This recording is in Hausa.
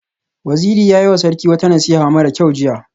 Waziri ya yiwa Sarki wata nasiha mara kyau jiya